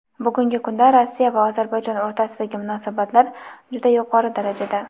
Bugungi kunda Rossiya va Ozarbayjon o‘rtasidagi munosabatlar juda yuqori darajada.